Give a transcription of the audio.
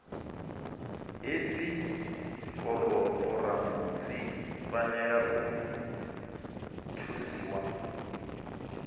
hedzi foramu dzi fanela u thusiwa